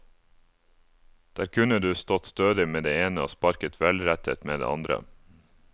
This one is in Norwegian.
Der kunne du stått stødig med det ene og sparket velrettet med det andre.